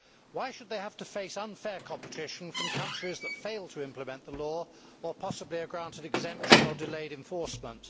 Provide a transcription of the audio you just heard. Why should they have to face unfair competition from countries that fail to implement the law or possibly are granted exemption or delayed enforcement?